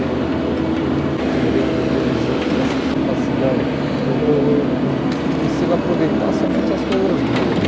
Eh eu tenho também, vamos dizer que essa capacidade, eu eu eu eu consigo aproveitar somente as coisas boas.